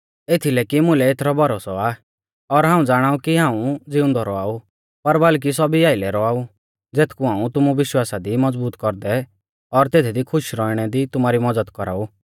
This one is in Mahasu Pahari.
एथीलै कि मुकै एथरौ भरोसौ आ और हाऊं ज़ाणाऊ कि हाऊं ज़िउंदौ रौआऊ पर बल्कि सौभी आइलै रौआऊ ज़ेथकु हाऊं तुमु विश्वासा दी मज़बूत कौरदै और तेथदी खुश रौउणै दी तुमारी मज़द कौराऊ